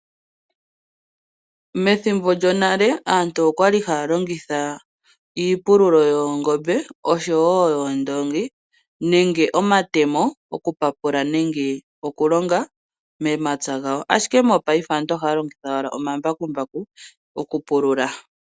Methimbo lyonale aantu okwali haya longitha iipululo yoongombe, oshowo yoondoongi, nenge omatemo, okupapula nenge okulonga momapya gawo. Ashike mopaife aantu ohaya longitha owala omambakumbaku, okupulula.